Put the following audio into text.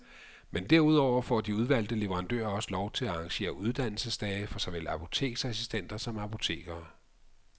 Men derudover får de udvalgte leverandører også lov til at arrangere uddannelsesdage for såvel apoteksassistenter som apotekere.